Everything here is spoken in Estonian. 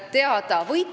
Aitäh, ministrid!